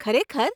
ખરેખર?